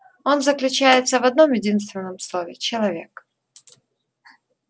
он заключается в одном-единственном слове человек